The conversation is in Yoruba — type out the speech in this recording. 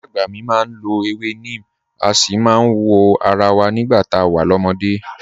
Ìyá àgbà mi máa ń lọ ewé neem, a sì máa ń wọ ara wa nígbà tá a wà lọ́mọdé